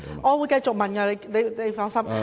我會繼續提問的，請放心。